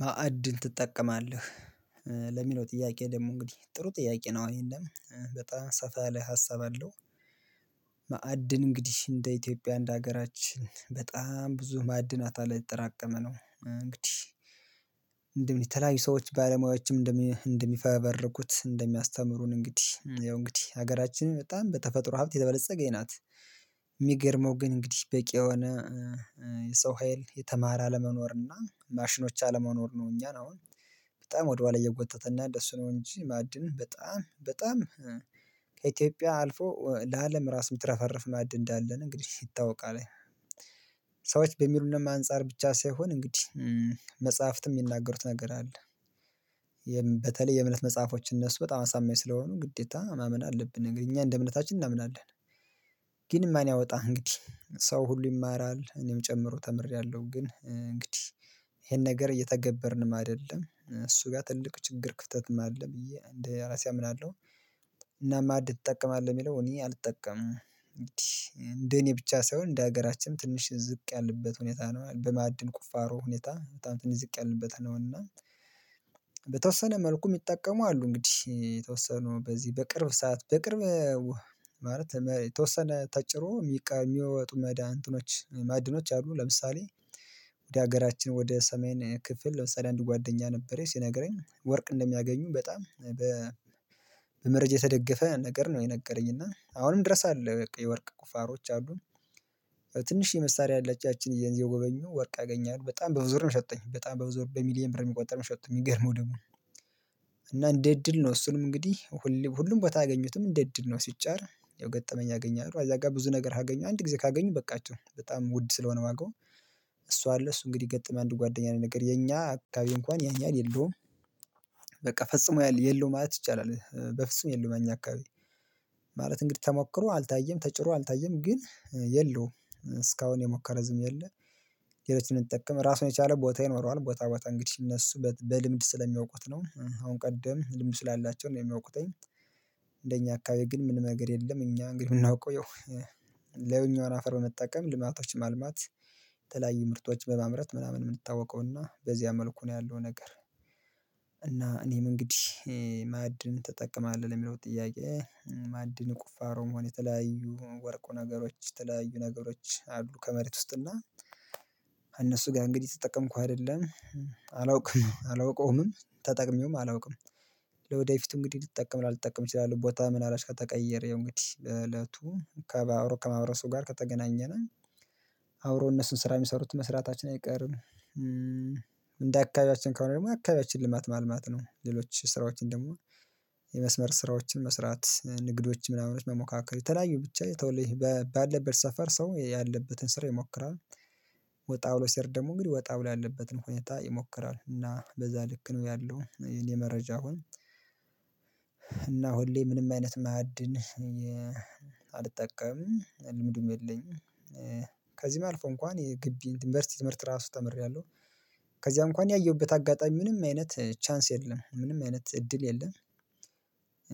ማዕድን ትጠቀማለህ ለሚለው ጥያቄ ደግሞ እንግዲህ ጥሩ ጥያቄ ነው የለም በጣም ሰፋ ላይ ሀሳብ አለው። እንግዲህ እንደ ኢትዮጵያ አንድ ሀገራችን በጣም ብዙ ማዕድናት አለ ይተጠራቀመ ነው። እንግዲህ እንደምን ሰዎች ባለሙያዎችም እንደሚፈበርኩት እንደሚያስተምሩን እንግዲህ ያው እንግዲህ ሀገራችን በጣም በተፈጥሮ ሀብት የበለፀገኝ ናት። የሚገርመው ግን እንግዲህ በቂ የሆነ የሰው ሀይል የተማረ አለመኖር እና ማሽኖች አለመኖር ነው። እኛን አሁን በጣም ወደኋላ እየጎተተና እንደስ ነው። እንጂ ማዕድን በጣም በጣም አልፎ ለአለም ራስ ምትረፈረፍ ማዕድ እንዳለን እንግዲህ ይታወቃል አለኝ። ሰዎች በሚሉንም አንፃር ብቻ ሳይሆን እንግዲህ መጽሐፍትም የሚናገሩት ነገር አለ። በተለይ የእምነት መጽሐፎች እነሱ በጣም አሳማኝ ስለሆኑ ግዴታ ማመን አለብን ነገር እኛ እንደ እምነታችን እናምናለን። ግን ማን ያወጣ እንግዲህ ሰው ሁሉ ይማራል እኔም ጨምሮ ተምሬያለሁ ግን እንግዲህ ይሄን ነገር እየተገበርንም አይደለም እሱ ጋር ትልቅ ችግር ክፍተትም አለ ብዬ እንደ ራሴ አምናለሁ። እና ማዕድ ትጠቀማል የሚለው እኔ አልጠቀምም እንዴ እንደኔ ብቻ ሳይሆን እንደሀገራችንም ትንሽ ዝቅ ያለበት ሁኔታ ነው። በማዕድን ቁፋሮ ሁኔታ በጣም ትንሽ ዝቅ ያለንበት ነው። እና በተወሰነ መልኩ የሚጠቀሙ አሉ እንግዲህ የተወሰኑ በዚህ በቅርብ ሰዓት በቅርብ ማለት የተወሰነ ተጭሮ የሚቃ የሚወጡ ማእድኖ ማዕድኖች አሉ። ለምሳሌ ወደ ሀገራችን ወደ ሰሜን ክፍል ለምሳሌ አንድ ጓደኛ ነበር ሲነግረኝ ወርቅ እንደሚያገኙ በጣም በመረጃ የተደገፈ ነገር ነው። የነገረኝ እና አሁንም ድረስ አለ የወርቅ ቁፋሮች አሉን። የመሳሪያ ያላችሁ ያቺን የጎበኙ ወርቅ አገኛሉ በጣም በብዙ ብር ነው የሸጠኝ በጣም በብዙ ብር በሚሊየን ብር የሚቆጠር ሚሸጠት የሚገርመው ደግሞ እና እንዴ እንደ እድል ነው። እሱንም እንግዲህ ሁሉም ቦታ አያገኙትም እንደ እድል ነው። ሲጫር ገጠመኝ ያገኛሉ አዛ ጋር ብዙ ነገር ካገኘሁ አንድ ጊዜ ካገኙ በቃቸው በጣም ውድ ስለሆነ ዋጋው እሷ አለ እሱ እንግዲህ ገጥም አንድ ጓደኛዬ ነው የነገርኝ የኛ አካባቢ እንኳን ያን ያሀል የለውም። በቃ ፈጽሞ የለውም ማለት ይቻላል በፍጹም የለውም እኛ አካባቢ ማለት እንግዲህ ተሞክሮ አልታየም ተጭሮ አልታየም ግን የለውም እስካሁን የሞከረ ህዝብም የለ። ሌሎችን እንጠቀም ራሱን የቻለ ቦታ ይኖረዋል ቦታ ቦታ እንግዲህ እነሱ በልምድ ስለሚያውቁት ነው አሁን ቀደም ልምዱ ስላላቸው ነው የሚያውቁተኝ አካባቢ ግን ምንም ነገር የለም። እኛ እንግዲህ የምናውቀው ይላኛዉን አፈር በመጠቀም ልማቶች ማልማት የተለያዩ ምርቶች በማምረት ምናምን የምንታወቀውና በዚያ መልኩ ነው ያለው ነገር። እና እኔም እንግዲህ ማዕድን ተጠቀማለሁ ለሚለው ጥያቄ ማዕድን ቁፋሮ መሆን የተለያዩ ወርቁ ነገሮች የተለያዩ ነገሮች አሉ ከመሬት ውስጥ እና እነሱ ጋር እንግዲህ እየተጠቀምኩ አይደለም። አላውቅም አላውቀውምም ተጠቅሜውም አላውቅም። ለወደፊቱ እንግዲህ ልጠቀም ላልጠቀም እችላለሁ ቦታ ምን አላባት ከተቀየረው እንግዲህ እለቱ ከብረው ከማህበረሰቡ ጋር ከተገናኘን አብሮ እነሱን ስራ የሚሰሩት መስራታችን አይቀርም። እንደ አካባቢያችን ከሆነ ደግሞ አካባቢያችን ልማት ማልማት ነው። ሌሎች ስራዎችን ደግሞ የመስመር ስራዎችን መስራት ንግዶችን ምናምኖች መሞካከር የተለያዩ ብቻ የተወለይ ባለበት ሰፈር ሰው ያለበትን ስራ ይሞክራል። ወጣ ብሎ ሰሄድ ደግሞ እንግዲህ ወጣ ብሎ ያለበትን ሁኔታ ይሞክራል እና በዛ ልክ ነው ያለው እኔ መረጃ አሁን እና ሁሌ ምንም አይነት ማዕድን አልጠቀምም ልምዱም የለኝም። ከዚህም አልፎ እንኳን የግቢ የዩኒቨርሲቲ ትምህርት ራሱ ተምሬያለሁ ከዚያ እንኳን ያየሁበት አጋጣሚ ምንም አይነት ቻንስ የለም ምንም አይነት እድል የለም።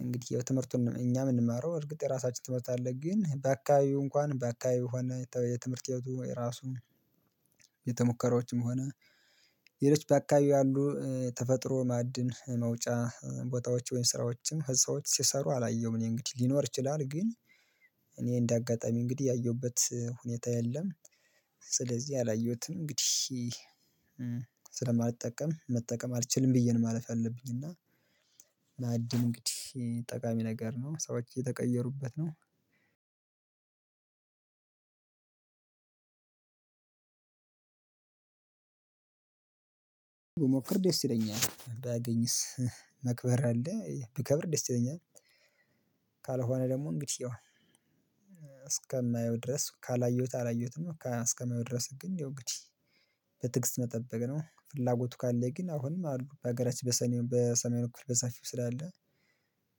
እንግዲህ ትምህርቱን እኛ የምንማረው እርግጥ የራሳችን ትምህርት አለ ግን በአካባቢው እንኳን በአካባቢው ሁኔታው የትምህርት ህይወቱ የራሱ ቤተሙከራዎችም ሆነ ባካባቢው ያሉ ተፈጥሮ ማዕድን መውጫ ቦታዎች ወይም ስራዎችም ህፃዎች ሲሰሩ አላየሁም እኔ እንግዲህ ሊኖር ይችላል። ግን እኔ እንደ አጋጣሚ እንግዲህ ያየሁበት ሁኔታ የለም። ስለዚህ አላየሁትም እንግዲህ ስለማልጠቀም መጠቀም አልችልም ብዬ ነው ማለፍ አለብኝ እና እና ማዕድን እንግዲህ ጠቃሚ ነገር ነው ሰዎች እየተቀየሩበት ነው። ብሞክር ደስ ይለኛል ባገኝስ? መክበር አለ ብከብር ደስ ይለኛል። ደግሞ እንግዲህ እስከማየው ድረስ ካላየሁት አላየሁትም እስከማየው ድረስ ግን ይው እንግዲህ በትግስት መጠበቅ ነው። ፍላጎቱ ካለ ግን አሁንም አሉ በሀገራችን በሰሜን በሰሜን በኩል በሰፊው ስላለ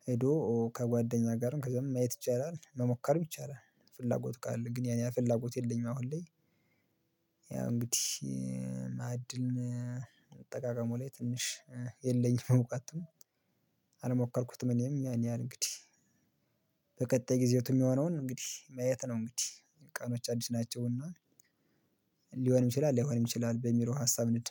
ሄዶ ከጓደኛ ጋርም ከዛም ማየት ይቻላል መሞከር ይቻላል። ፍላጎት ካለ ግን ያኔ ፍላጎት የለኝም። አሁን ላይ እንግዲህ ማዕድን አጠቃቀሙ ላይ ትንሽ የለኝም። እዉቀቱ አልሞከርኩትም እኔም ያን ያህል እንግዲህ በቀጣይ ጊዜው የሚሆነውን እንግዲህ ማየት ነው። እንግዲህ ቀኖች አዲስ ናቸው እና ሊሆን ይችላል ላይሆንም ይችላል። በሚለው ሀሳብ እንሂድ